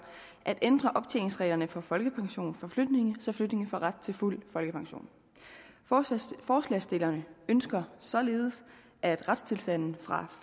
at ændre optjeningsreglerne for folkepension for flygtninge så flygtninge får ret til fuld folkepension forslagsstillerne ønsker således at retstilstanden fra